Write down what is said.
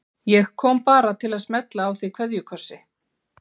Ég kom bara til að smella á þig kveðjukossi.